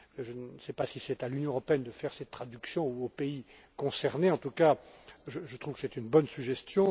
Je ne sais pas si c'est à l'Union européenne de faire cette traduction ou aux pays concernés, en tout cas, je trouve que c'est une bonne suggestion.